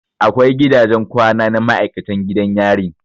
Akwai gidajen kwana na maikatan gidan yarin